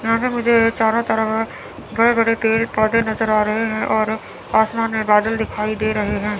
यहां पे मुझे ये चारों तरफ बड़े बड़े पेड़ पौधे नजर आ रहे हैं और आसमान में बादल दिखाई दे रहे हैं।